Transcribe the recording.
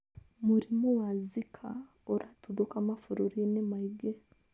Mũrimũ wa Zika nĩ ũratuthũka mabũrũri-inĩ maingĩ.